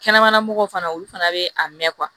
Kɛnɛmana mɔgɔw fana olu fana bɛ a mɛn